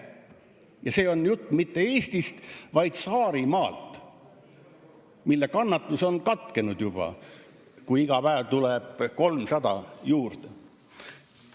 Ja see on jutt mitte Eestist, vaid Saarimaast, mille kannatus on katkenud juba siis, kui iga päev tuleb 300 juurde.